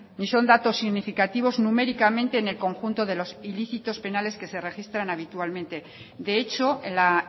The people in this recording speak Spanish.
ni son datos significativos numéricamente en el conjunto de los ilícitos penales que se registran habitualmente de hecho en la